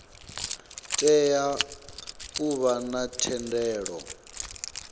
tea u vha na thendelo